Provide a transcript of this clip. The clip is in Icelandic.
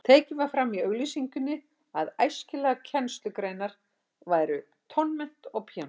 Tekið var fram í auglýsingunni að æskilegar kennslugreinar væru tónmennt og píanókennsla.